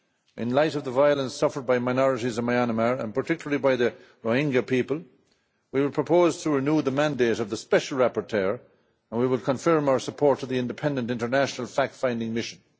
In light of the violence suffered by minorities in Myanmar, and particularly by the Rohingya people, we will propose to renew the mandate of the Special Rapporteur and we will confirm our support for the Independent International Fact-Finding Mission.